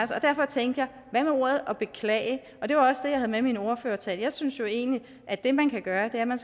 så derfor tænkte jeg hvad med ordet beklage det var også det jeg havde med i min ordførertale jeg synes jo egentlig at det man kan gøre er at man